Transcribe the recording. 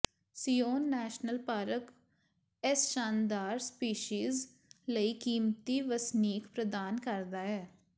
Zion national park ਇਸ ਸ਼ਾਨਦਾਰ species ਲਈ ਕੀਮਤੀ ਵਸਨੀਕ ਪ੍ਰਦਾਨ ਕਰਦਾ ਹੈ